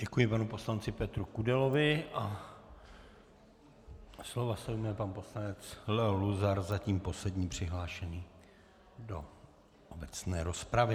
Děkuji panu poslanci Petru Kudelovi a slova se ujme pan poslanec Leo Luzar, zatím poslední přihlášený do obecné rozpravy.